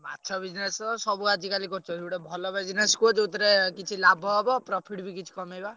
ମାଛ business ସବୁ ଆଜିକାଲି କରୁଛନ୍ତି। ଗୋଟେ ଭଲ business କୁହ ଯେଉଁଥିରେ କିଛି ଲାଭ ହବ profit ବି କିଛି କମେଇବା।